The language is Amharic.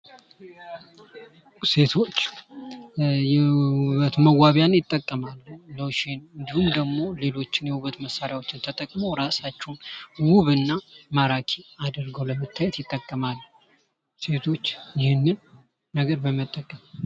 ሴቶች የውበት መዋቢያን ይጠቀማሉ ሎሽን እንዲሁም ደግሞ ሌሎች የውበት መሳሪያዎችን ተጠቅመው እራሳቸውን ውብ እና ማራኪ አድርገው ለመታየት ይጠቀማሉ ሴቶች ይህን ነገር በመጠቀም።